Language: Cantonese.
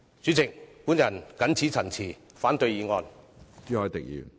主席，我謹此陳辭，反對議案。